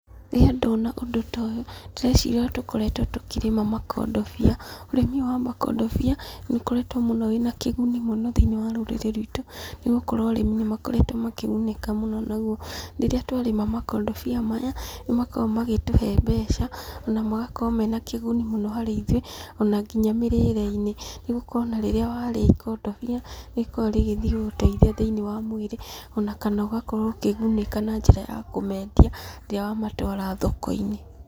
Rĩrĩa ndona ũndũ ta ũyũ, ndĩreciria ũrĩa tũkoretwo tũkĩrĩma makondobia, ũrĩmi ũyũ wa makondobia nĩ ũkoretwo mũno wĩ na kĩguni mũno thĩiniĩ wa rũrĩrĩ rwitũ ni gũkorwo arĩmi nĩ makoretwo makĩgunĩka mũno. Naguo rĩrĩa tũarĩma makondobia maya, nĩ makoragwo magĩtũhe mbeca na magakorwo mena kĩguni mũno harĩ ithuĩ ona nginya mĩrĩĩre-inĩ, nĩ gũkorwo ona rĩrĩa warĩa ikondobia nĩ rĩkoragwo rĩgĩthiĩ gũguteithia thĩiniĩ wa mwĩrĩ ona kana ugakorwo ũkĩgunĩka na njĩra ya kũmendia rĩrĩa wamatũara thoko-inĩ.